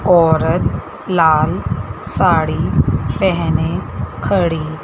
औरत लाल साड़ी पहने खड़ी--